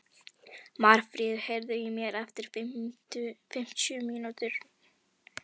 Marfríður, heyrðu í mér eftir fimmtíu og níu mínútur.